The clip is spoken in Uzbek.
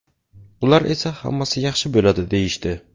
Ular esa ‘hammasi yaxshi bo‘ladi’ deyishdi.